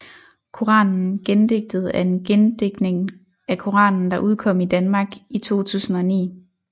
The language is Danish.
Koranen gendigtet er en gendigtning af Koranen der udkom i Danmark i 2009